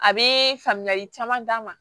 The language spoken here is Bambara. A bee faamuyali caman d'a ma